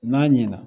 N'a ɲɛna